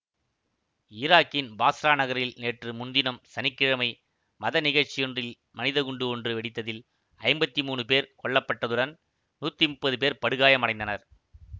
ஈராக்கின் பாஸ்ரா நகரில் நேற்று முன்தினம் சனி கிழமை மத நிகழ்ச்சியொன்றில் மனிதக்குண்டு ஒன்று வெடித்ததில் ஐம்பத்தி மூனு பேர் கொல்ல பட்டதுடன் நூத்தி முப்பது பேர் படுகாயம் அடைந்தனர்